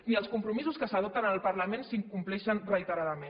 i els compromisos que s’adopten al parlament s’incompleixen reiteradament